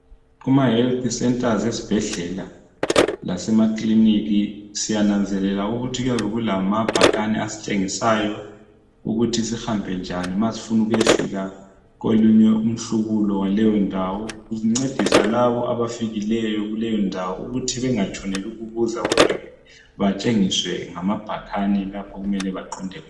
Kuma"health centers" ezibhedlela lasemakilinika siyananzelela ukuthi kuyabe kulamabhakani asitshengisayo ukuthi sihambe njani ma sifuna ukuyafika kolunye umhlubulo waleyondawo .Kuncedisa labo abafikileyo kuleyo ndawo ukuthi bengatshoneli ukubuza kodwa batshengiswe ngamabhakani lapho okumele baqonde khona.